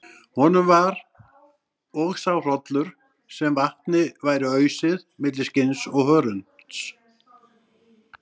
Honum var og sá hrollur sem vatni væri ausið milli skinns og hörunds.